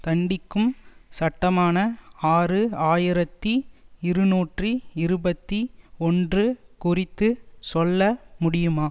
தண்டிக்கும் சட்டமான ஆறு ஆயிரத்தி இருநூற்றி இருபத்தி ஒன்று குறித்து சொல்ல முடியுமா